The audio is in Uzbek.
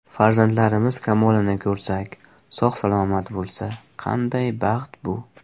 Farzandlarimiz kamolini ko‘rsak, sog‘-salomat bo‘lsa, qanday baxt bu!